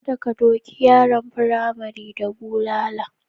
Kada ka doki yaran firamare da bulala.